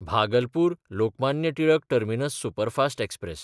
भागलपूर–लोकमान्य Tilak terminus superfast express